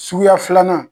Suguya filanan